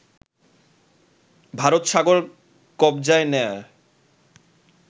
ভারতসাগর কবজায় নেয়ার